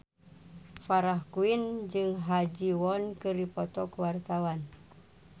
Farah Quinn jeung Ha Ji Won keur dipoto ku wartawan